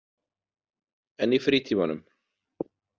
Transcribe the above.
En í frítímanum?